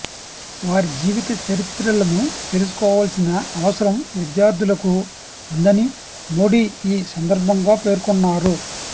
వారి జీవిత చరిత్రలను తెలుసుకోవాల్సిన అవసరం విద్యార్ధులకు ఉందని మోడీ ఈ సందర్భంగా పేర్కొన్నారు